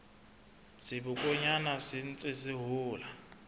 sebokonyana se ntseng se hola